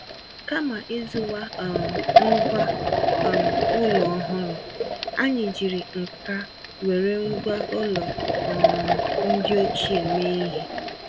Kama ịzụwa um ngwá um ụlọ ọhụrụ, anyị jiri ǹkà wéré ngwá ụlọ um ndị ochie mee ihe.